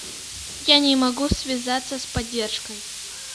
я не могу связаться с поддержкой